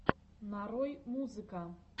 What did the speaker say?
нарой музыка